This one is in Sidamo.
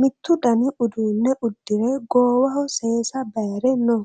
mitttu dani uduunne udire goowaho seesa bayre no